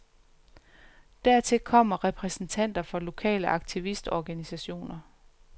Dertil kommer repræsentanter for lokale aktivistorganisationer.